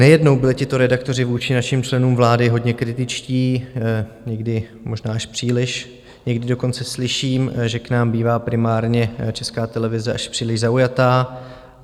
Nejednou byli tito redaktoři vůči našim členům vlády hodně kritičtí, někdy možná až příliš, někdy dokonce slyším, že k nám bývá primárně Česká televize až příliš zaujatá.